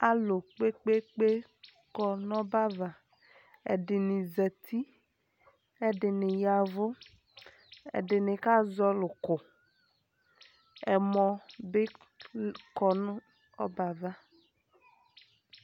alu kpekpe kɔ nu ɔbɛ va ɛdini zɛti kɛ ɛdini yavu ɛdini ka zɔli ku ɛmɔ bi kɔnu ɔbɛa va